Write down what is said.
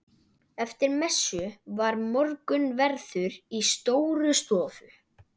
Eftir messu var morgunverður í Stórustofu.